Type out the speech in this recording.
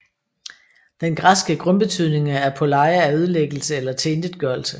Den græske grundbetydning af apôleia er ødelæggelse eller tilintetgørelse